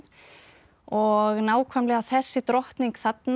og nákvæmlega þessi drottning þarna